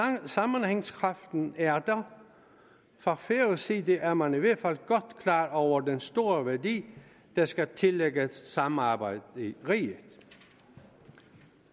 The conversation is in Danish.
sammenhængskraften er der fra færøsk side er man i hvert fald godt klar over den store værdi der skal tillægges samarbejdet i riget